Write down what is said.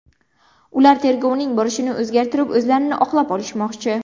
Ular tergovning borishini o‘zgartirib, o‘zlarini oqlab olishmoqchi.